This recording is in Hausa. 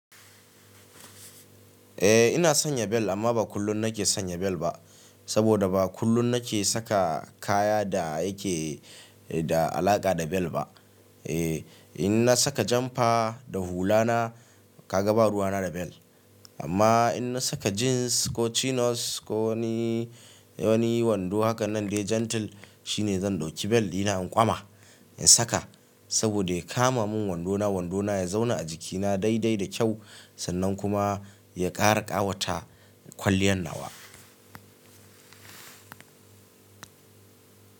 Eh ina sanya bel amma ba kullum nake sanya bel ba. Saboda ba kullum nake saka kaya da yake da alaƙa da bel ba. Eh in na saka janfa da hula na kaga ba ruwa na da bel. Amma in na saka jeans ko chinos ko wani, wani wando haka nan dai gentle shine zan ɗauki bel dina in ƙwama in saka. Saboda ya kama mun wandona, wandona ya zauna a jikina daidai da kyau sannan kuma ya ƙara ƙawata kwaliyan nawa.